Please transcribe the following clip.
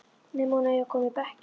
Nema hún eigi að koma í bekkinn.